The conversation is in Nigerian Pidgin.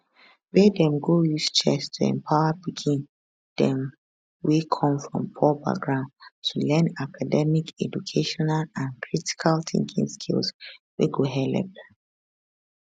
wia dem go use chess to empower pikin dem wey come from poor background to learn academic educational and critical thinking skills wey go helep